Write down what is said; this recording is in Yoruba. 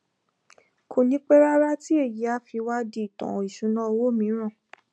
kò ní pẹ rárá tí èyí á fi wá di ìtàn ìṣúnná owó mìíràn